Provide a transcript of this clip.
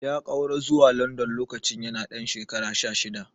Ya ƙaura zuwa London lokacin yana ɗan shekara sha shida.